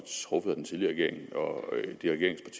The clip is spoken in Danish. truffet af den tidligere regering